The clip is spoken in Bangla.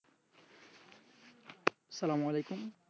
সালামালাইকুম